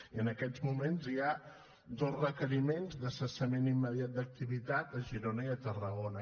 i en aquests moments hi ha dos requeriments de cessament immediat d’activitat a girona i a tarragona